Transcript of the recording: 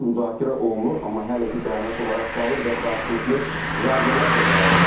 Müzakirə olunur, amma hələ ki bəyanat olaraq qalır və qarşılıqlı zərbələr də davam edir.